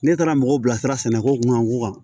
Ne taara mɔgɔw bilasira sɛnɛko kun ka ko kan